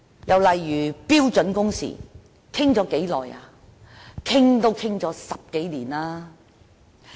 又例如標準工時，我們已討論多久呢？